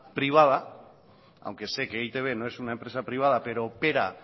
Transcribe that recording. privada aunque sé que e i te be no es una empresa privada pero opera